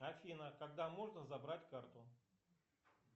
афина когда можно забрать карту